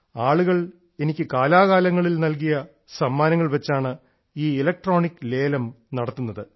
ആളുകൾ എനിക്ക് കാലാകാലങ്ങളിൽ നൽകിയ സമ്മാനങ്ങൾ വച്ചാണ് ഈ ഇലക്ട്രോണിക് ലേലം നടത്തുന്നത്